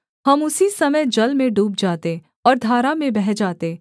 हम उसी समय जल में डूब जाते और धारा में बह जाते